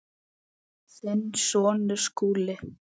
Þinn sonur, Skúli.